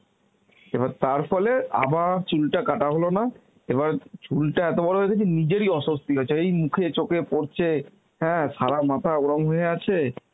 এবার তার ফলে আবার চুলটা কাটা হলো না এবার চুলটা এত বড় হয়ে গিয়েছিল নিজেরই অস্বস্তি হচ্ছে, এই মুখে চোখে পরছে, হ্যাঁ সারা মাথা ওরম হয়ে আছে